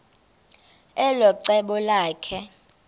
elo cebo lakhe